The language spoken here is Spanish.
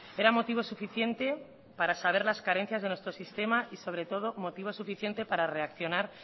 era motivo suficiente para saber las carencias de nuestro sistema y sobre todo motivo suficiente para reaccionar